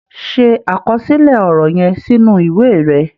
Ṣe àkọsílẹ̀ ọ̀rọ̀ yẹn sínú ìwé rẹ̀.